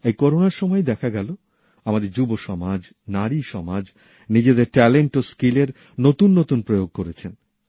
এই করোনার সময়ে দেখা গেলো আমাদের যুবসমাজনারী সমাজ নিজেদের মেধা ও দক্ষতার নতুন নতুন প্রয়োগ করেছেন